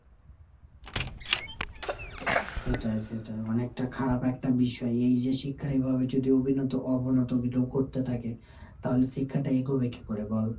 সেটাই সেটাই। অনেকটা খারাপ একটা বিষয়। এই যে শিক্ষার এভাবে যদি অবিনত অবনতগুলো করতে থাকে, তাহলে শিক্ষাটা এগোবে কী করে বল ?